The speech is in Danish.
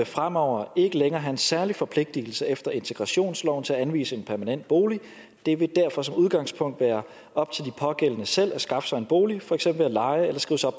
fremover ikke længere have en særlig forpligtelse efter integrationsloven til at anvise en permanent bolig det vil derfor som udgangspunkt være op til de pågældende selv at skaffe sig en bolig for eksempel ved leje